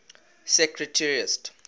secretariat